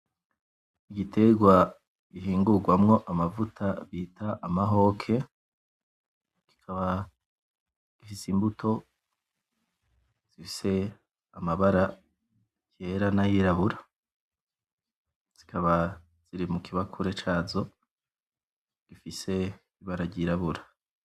Igitegwa gihingugwamwo amavuta bita amahoke kikaba gifise imbuto zifise amabara yera n'ayirabura zikaba ziri mu kibakure cazo gifise ibara ry'irabura.